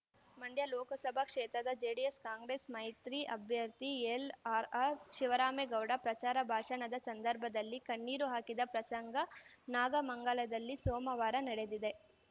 ಮಂಡ್ಯ ಲೋಕಸಭಾ ಕ್ಷೇತ್ರದ ಜೆಡಿಎಸ್‌ಕಾಂಗ್ರೆಸ್‌ ಮೈತ್ರಿ ಅಭ್ಯರ್ಥಿ ಎಲ್‌ಆರ್‌ ಆರ್‌ಶಿವರಾಮೇಗೌಡ ಪ್ರಚಾರ ಭಾಷಣದ ಸಂದರ್ಭದಲ್ಲಿ ಕಣ್ಣೀರು ಹಾಕಿದ ಪ್ರಸಂಗ ನಾಗಮಂಗಲದಲ್ಲಿ ಸೋಮವಾರ ನಡೆದಿದೆ